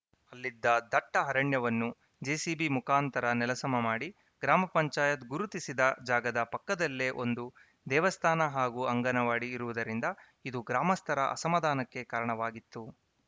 ಅಲ್ಲಿದ್ದ ದಟ್ಟಅರಣ್ಯವನ್ನು ಜೆಸಿಬಿ ಮುಖಾಂತರ ನೆಲಸಮ ಮಾಡಿ ಗ್ರಾಮ ಪಂಚಾಯತ್ ಗುರುತಿಸಿದ ಜಾಗದ ಪಕ್ಕದಲ್ಲೇ ಒಂದು ದೇವಸ್ಥಾನ ಹಾಗೂ ಅಂಗನವಾಡಿ ಇರುವುದರಿಂದ ಇದು ಗ್ರಾಮಸ್ಥರ ಅಸಮಾಧಾನಕ್ಕೆ ಕಾರಣವಾಗಿತ್ತು